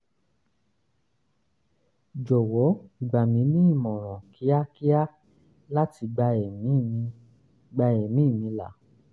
jowo gba mi ni imoran kiakia lati gba emi mi gba emi ni la